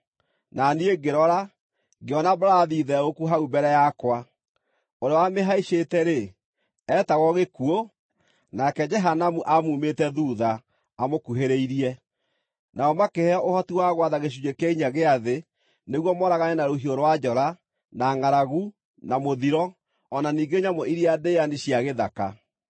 Na niĩ ngĩrora, ngĩona mbarathi theũku hau mbere yakwa! Ũrĩa wamĩhaicĩte-rĩ, eetagwo Gĩkuũ, nake Jehanamu aamumĩte thuutha, amũkuhĩrĩirie. Nao makĩheo ũhoti wa gwatha gĩcunjĩ kĩa inya gĩa thĩ, nĩguo mooragane na rũhiũ rwa njora, na ngʼaragu, na mũthiro, o na ningĩ nyamũ iria ndĩani cia gĩthaka.